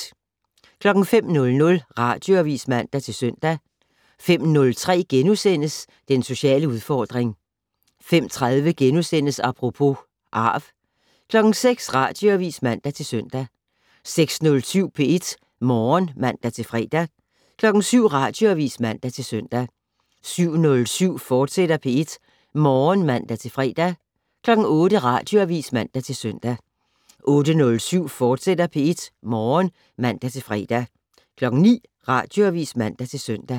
05:00: Radioavis (man-søn) 05:03: Den sociale udfordring * 05:30: Apropos - arv * 06:00: Radioavis (man-søn) 06:07: P1 Morgen (man-fre) 07:00: Radioavis (man-søn) 07:07: P1 Morgen, fortsat (man-fre) 08:00: Radioavis (man-søn) 08:07: P1 Morgen, fortsat (man-fre) 09:00: Radioavis (man-søn)